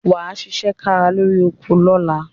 Wà á ṣiṣẹ́ kárakára lórí oko lọ́la.